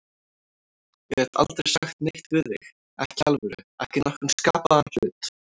Ég gat aldrei sagt neitt við þig, ekki í alvöru, ekki nokkurn skapaðan hlut.